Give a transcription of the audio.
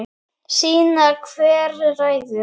Sýna hver ræður.